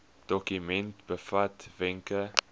dokument bevat wenke